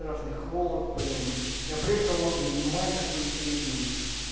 страшных холод блин и апрель холодный и май такой средний